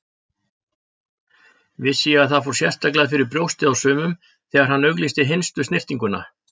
Vissi ég að það fór sérstaklega fyrir brjóstið á sumum þegar hann auglýsti hinstu snyrtinguna.